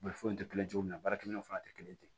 foyi tɛ kelen cogo min na baarakɛ minɛnw fana tɛ kelen ye ten